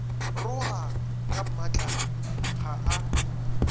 roga ka mmatlala ga a